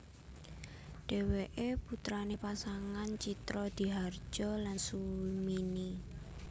Dheweke putrane pasangan Tjitrodihardjo lan Sumini